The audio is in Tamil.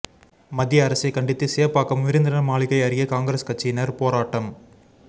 மத்திய அரசை கண்டித்து சேப்பாக்கம் விருந்தினர் மாளிகை அருகே காங்கிரஸ் கட்சியினர் போராட்டம்